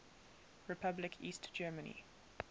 republic east germany